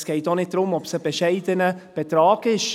Es geht auch nicht darum, ob es ein bescheidener Betrag ist.